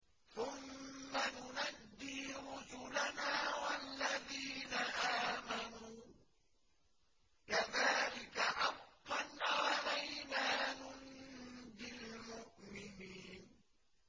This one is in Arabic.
ثُمَّ نُنَجِّي رُسُلَنَا وَالَّذِينَ آمَنُوا ۚ كَذَٰلِكَ حَقًّا عَلَيْنَا نُنجِ الْمُؤْمِنِينَ